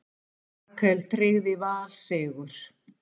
Rakel tryggði Val sigur